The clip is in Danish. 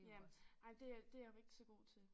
Jamen ej det jeg det jeg ikke så god til